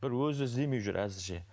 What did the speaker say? бір өзі іздемей жүр әзірше